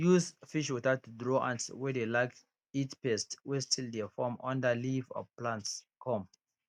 use fish water to draw ants wey dey like eat pest wey still dey form under leaf of plants come